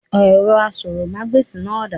Èrọ asọ̀rọ̀mágbèsì náà dà?